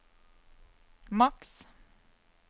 maks